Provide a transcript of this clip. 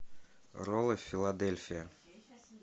роллы филадельфия